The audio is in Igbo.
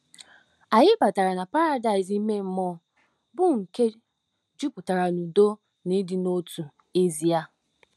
Anyị batara na paradaịs ime mmụọ, bụ́ nke jupụtara n'udo na ịdị n'otu. — Aịza.